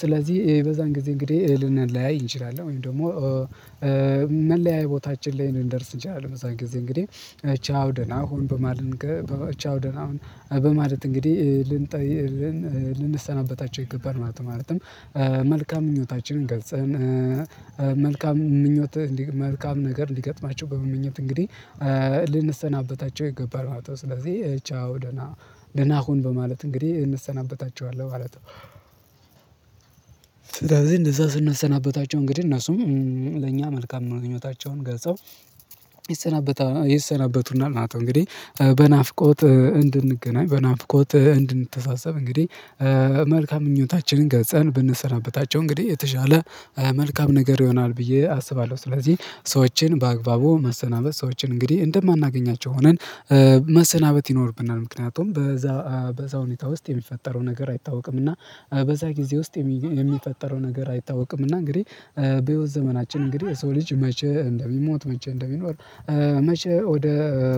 ስለዚህ በዛን ጊዜ እንግዲህ ልንለያይ እንችላለን ወይም ደግሞ መለያየ ቦታችን ላይ ልንደርስ እንችላለን በዛን ጊዜ እንግዲህ ቻው ደና ሁን በማለት እንግዲህ ልንሰናበታቸው ይገባል ማለት ነው። መልካም ምኞታችንን ገልጰን መልካም ምኞት መልካም ነገር ሊገጥማቸው በመመኘት እንግዲህ ልንሰናበታቸው ይገባል ማለት ነው። ስለዚህ ቻው ደና ደና ሁን በማለት እንግዲህ እንሰናበታቸዋለን ማለት ነው። ስለዚህ እነዛ ስናሰናበታቸው እንግዲህ እነሱም ለእኛ መልካም ምኞታቸውን ገልጸው ይሰናበቱናል ማለት ነው። እንግዲህ በናፍቆት እንድንገናኝ በናፍቆት እንድንተሳሰብ እንግዲህ መልካም ምኞታችንን ገልጸን ብንሰናበታቸው እንግዲህ የተሻለ መልካም ነገር ይሆናል ብዬ አስባለሁ። ስለዚህ ሰዎችን በአግባቡ መሰናበት ሰዎችን እንግዲህ እንደማናገኛቸው ሆነን መሰናበት ይኖርብናል። ምክንያቱም በዛ በዛ ሁኔታ ውስጥ የሚፈጠረው ነገር አይታወቅም። እና በዛ ጊዜ ውስጥ የሚፈጠረው ነገር አይታወቅምና እንግዲህ በህይወት ዘመናችን እንግዲህ የሰው ልጅ መቼ እንደሚሞት መቼ እንደሚኖር መቼ ወደ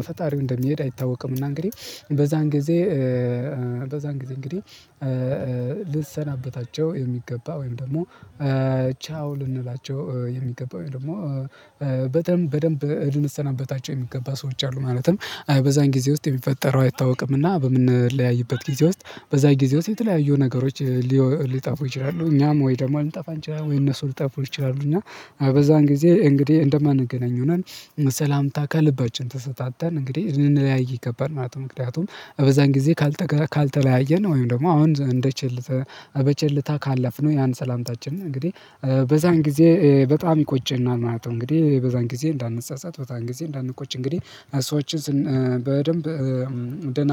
ፈጣሪው እንደሚሄድ አይታወቅም። እና እንግዲህ በዛን ጊዜ በዛን እንግዲህ እንግዲህ ልሰናበታቸው የሚገባ ወይም ደግሞ ቻው ልንላቸው የሚገባው ወይም ደግሞ በደንብ በደንብ ልንሰናበታቸው የሚገባ ሰዎች አሉ። ማለትም በዛን ጊዜ ውስጥ የሚፈጠረው አይታወቅምና በምንለያይበት ጊዜ ውስጥ በዛን ጊዜ ውስጥ የተለያዩ ነገሮች ሊጠፉ ይችላሉ እኛም ወይ ደግሞ ልንጠፋ እንችላለን ወይ እነሱ ሊጠፉ ይችላሉ እና በዛን ጊዜ እንግዲህ እንደማንገናኝ ሆነን ሰላምታ ከልባችን ተሰጣጥተን እንግዲህ ልንለያይ ይገባል። ማለት ምክንያቱም በዛን ጊዜ ካልተለያየን ወይም ደግሞ አሁን እንደ ቸልተ በቸልታ ካለፍነው ያን ሰላምታችን እንግዲህ በዛን ጊዜ በጣም ይቆጨናል ማለት ነው። እንግዲህ በዛን ጊዜ እንዳንጰጰት በዛን ጊዜ እንዳንቆጭ እንግዲህ ሰዎችን በደንብ ደና